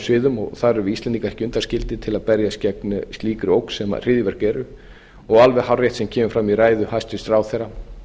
sviðum og þar erum við íslendingar ekki undanskildir til að berjast gegn slíkri ógn sem hryðjuverk eru og alveg hárrétt sem kemur fram í ræðu hæstvirts ráðherra